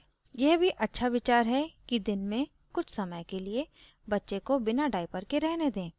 यह भी अच्छा विचार है कि दिन में कुछ समय के लिए बच्चे को बिना डाइपर के रहने दें